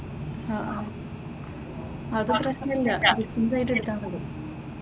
ആഹ് അഹ് അത് പ്രശനം ഇല്ല ഡിസ്റ്റന്റ് ആയിട് എടുത്താൽ മതി.